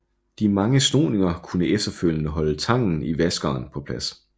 De mange snoninger kunne efterfølgende holde tangen i vaskeren på plads